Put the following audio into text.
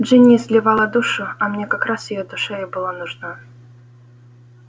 джинни изливала душу а мне как раз её душа и была нужна